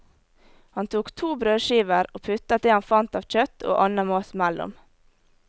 Han tok to brødskiver og puttet det han fant av kjøtt og annen mat mellom.